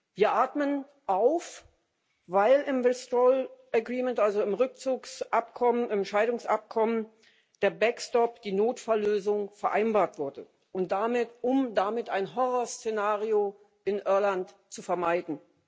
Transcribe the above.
Wir atmen auf, weil im Withdrawal Agreement also im Rückzugsabkommen, im Scheidungsabkommen, der Backstop, die Notfalllösung, vereinbart wurde, um damit ein Horrorszenario in Irland zu vermeiden.